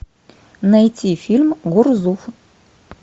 найти фильм гурзуф